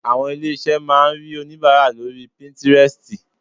Àwọn ilé-iṣé máa rí onìbàárà lóri píntírẹstì.